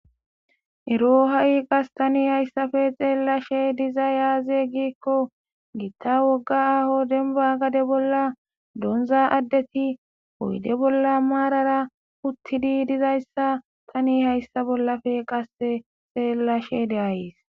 Ero ha'i qas tani hayssafe xeellashe diza yaaze giikko giitta wogga aho denba gade bolla doonza addeti hoyde bolla maarara uttidi dizayssa tani hayssa bollafe qasse xeellashe de'ayees,